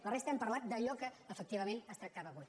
la resta hem parlat d’allò que efectivament es tractava avui